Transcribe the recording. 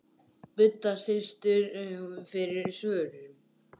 Budda situr fyrir svörum.